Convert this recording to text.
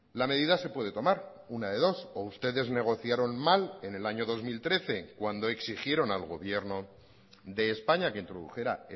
la medida se puede tomar una de dos o ustedes negociaron mal en el año dos mil trece cuando exigieron al gobierno de españa que introdujera